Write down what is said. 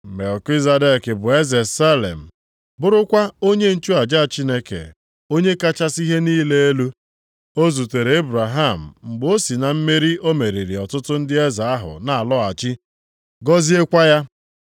Melkizedek a bụ eze Salem, bụrụkwa onye nchụaja Chineke Onye kachasị ihe niile elu. Ọ zutere Ebraham mgbe o si na mmeri o meriri ọtụtụ ndị eze ahụ na-alọghachi, gọziekwa ya.